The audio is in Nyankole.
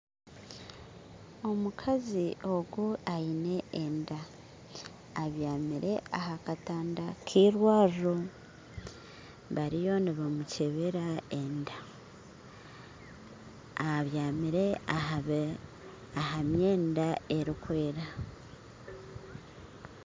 Omukazi ogu aine enda abyamire ahakatanda keirwariro bariyo nibamukyebera enda abyamire ahamyenda erikwera